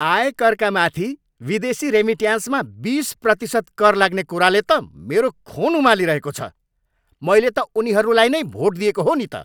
आयकरका माथि विदेशी रेमिट्यान्समा बिस प्रतिशत कर लाग्ने कुराले त मेरो खुन उमालिरहेको छ। मैले त उनीहरूलाई नै भोट दिएको हो नि त।